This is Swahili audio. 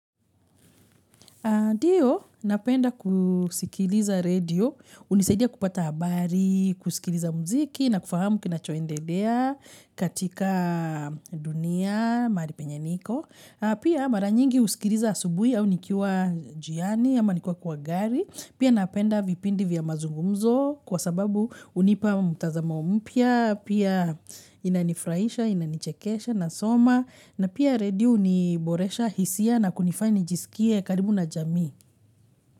Ndio, napenda kusikiliza radio, hunisaidia kupata habari, kusikiliza mziki na kufahamu kinachoendelea katika dunia, mahali penye niko. Pia mara nyingi husikiliza asubuhi au nikiwa njiani, ama nikiwa kwa gari. Pia napenda vipindi vya mazungumzo kwa sababu hunipa mtazama mpya, pia inanifurahisha, inanichekesha nasoma. Na pia radio huniboresha hisia na kunifanya nijisikie karibu na jamii.